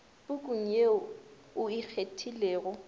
pukung ye o e kgethilego